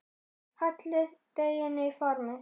Hellið deiginu í formið.